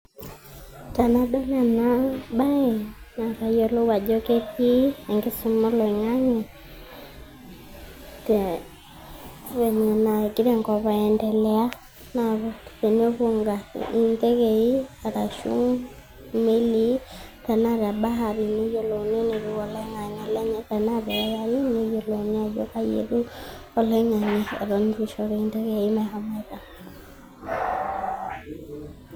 Tenadol enabae, na kayiolou ajo ketii enkisuma oloing'ang'e, venye nagira enkop aendelea. Na tenepuo ntekei, arashu imelii, na te bahari ,neyiolouni enetiu oloing'ang'e lenye. Enaa te AIU, neyiolouni ajo kaja etiu oloing'ang'e eton eitu shori ntekei meshomoita.